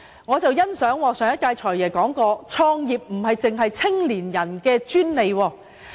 我很欣賞上任"財爺"所言，創業並非年青人的專利。